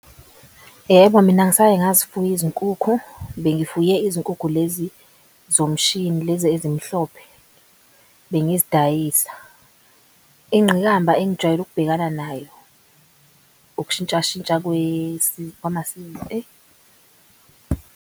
Yebo, mina ngisaye ngazifuya izinkukhu, bengibuye izinkukhu lezi zomshini lezi ezimhlophe bengizidayisa. Ingqikamba engijwayele ukubhekana nayo ukushintshashintsha .